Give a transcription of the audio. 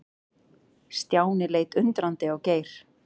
Stjáni leit undrandi á Geir.